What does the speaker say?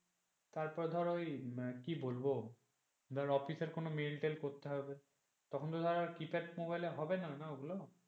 তারপর ধর ওই কি বলবো ধরো অফিসের এর কোন মেইল টেল করতে হবে তখন তো আর কিপ্যাড মোবাইল এ হবে না ও গুলো,